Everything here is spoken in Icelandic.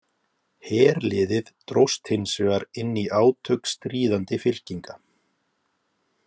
Herliðið dróst hins vegar inn í átök stríðandi fylkinga.